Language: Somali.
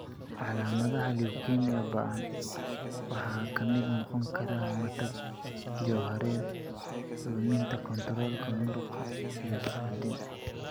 Calaamadaha leukemia ba'an waxaa ka mid noqon kara matag, jahawareer, luminta kontoroolka muruqa, iyo suuxdin.